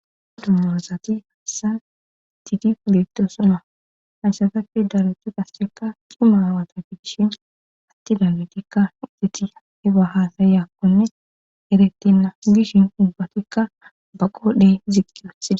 aa dummorozati haasan tidi fileqtosoma haysatapfe daletu gassekka qimaawata gidishin atti dammetikka iteti heba haasayakkonne eretenna gishin ubatikka ba qoodhey ziqqias